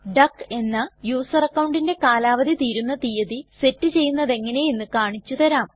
duck എന്ന user അക്കൌണ്ടിന്റെ കാലാവധി തീരുന്ന തീയതി സെറ്റ് ചെയ്യുന്നതെങ്ങനെ എന്ന് കാണിച്ചു തരാം